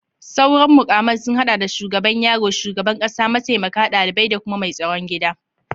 Sauran mukaman sun hada da shugaban yaro, shugaban kasa, mataimaka, dalibai, da kuma mai tsaron gida